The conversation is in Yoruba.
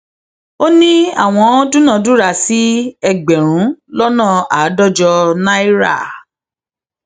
ó ní àwọn dúnàádúrà sí ẹgbẹrún lọnà àádọjọ náírà